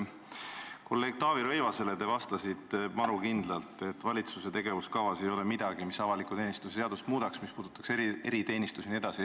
Kolleeg Taavi Rõivasele te vastasite maru kindlalt, et valitsuse tegevuskavas ei ole midagi, mis avaliku teenistuse seadust muudaks, mis puudutaks eriteenistusi jne.